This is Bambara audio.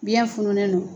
Biyɛn fununnen don